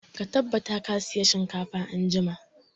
Ka tabbata ka saya shinkafa anjima!